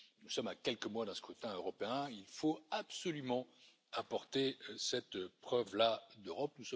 Nous sommes à quelques mois d'un scrutin européen, il faut absolument apporter cette preuve là d'Europe.